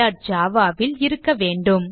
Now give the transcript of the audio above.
Java ல் இருக்க வேண்டும்